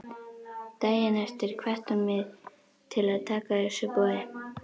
Daginn eftir hvatti hún mig til að taka þessu boði.